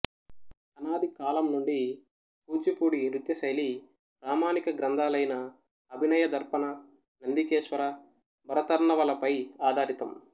అనాది కాలం నుండి కూచిపూడి నృత్య శైలి ప్రామాణిక గ్రంథాలైన అభినయ దర్పణ నందికేశ్వర భరతర్ణవ ల పై ఆధారితం